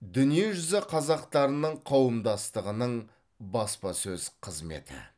дүниежүзі қазақтарының қауымдастығының баспасөз қызметі